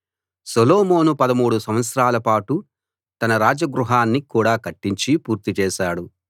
సొలొమోను 13 సంవత్సరాల పాటు తన రాజ గృహాన్ని కూడా కట్టించి పూర్తి చేశాడు